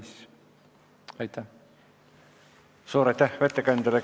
Suur aitäh ettekandjale!